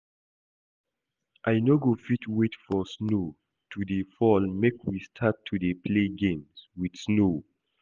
I no go fit wait for snow to dey fall make we start to dey play games with snow